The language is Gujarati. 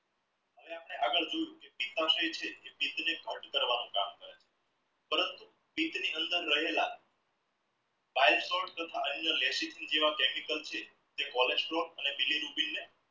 જેમ કે આગડ જોયું કરવાનું કામ કરે છે પરંતુ પિચ ની અંદર રહેલા chemical છે cholesterol અને